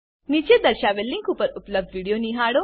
નીચે દર્શાવેલ લીંક પર ઉપલબ્ધ વિડીયો નિહાળો